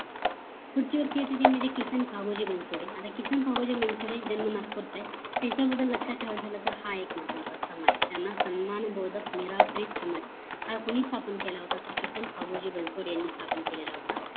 पुढची व्यक्ती येते ती म्हणजे किसन पाहोजी बनसोडे आता किसन पाहोजी बनसोडे जन्म नागपूरच आहे त्यांच्या बद्दल लक्ष्यात ठेवायचं झालं तर हा एक महत्वाचा समाज त्यांना सन्मान बोधक निरप्रीत समाज हा कोणी स्थापन केलं होत तर किसन पाहोजी बनसोडे यांनी स्थापन केलेलं होत